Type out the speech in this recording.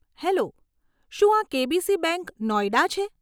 Hello, શું આ KBC bank, Noida છે?